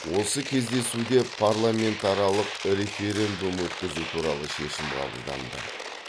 осы кездесуде парламентаралық референдум өткізу туралы шешім қабылданды